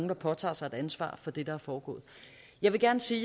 der påtager sig et ansvar for det der er foregået jeg vil gerne sige